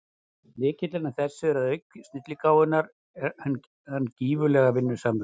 Lykillinn að þessu er að auk snilligáfunnar er hann gífurlega vinnusamur.